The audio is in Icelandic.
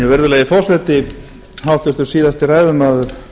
virðulegi forseti háttvirtur síðasti ræðumaður